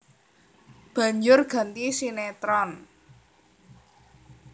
Banjur ganti sinétron